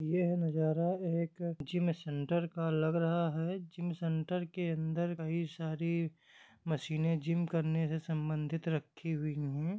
यह है नज़ारा एक जिम सेंटर का लग रहा है जिम सेंटर के अंदर कही सारी मशीन जिम करने के सम्बंधित रखी हुई है।